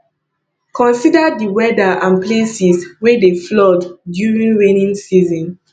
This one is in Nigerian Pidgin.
consider di weather and places wey dey flood during raining season